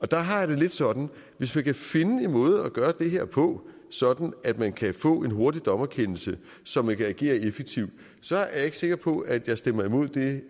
der har jeg det lidt sådan at hvis vi kan finde en måde at gøre det her på sådan at man kan få en hurtig dommerkendelse så man kan agere effektivt så er jeg ikke sikker på at jeg stemmer imod det